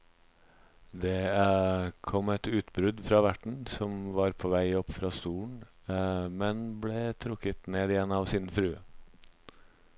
Det kom et utbrudd fra verten, som var på vei opp fra stolen, men ble trukket ned igjen av sin frue.